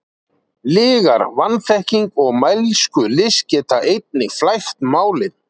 Lygar, vanþekking og mælskulist geta einnig flækt málin.